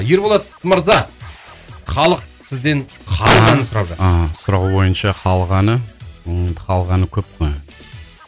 ерболат мырза халық сізден халық әнін сұрап жатыр аха сұрауы бойынша халық әні енді халық әні көп қой